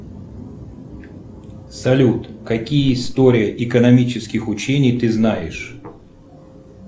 салют какие истории экономических учений ты знаешь